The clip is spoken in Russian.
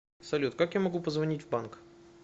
салют как я могу позвонить в банк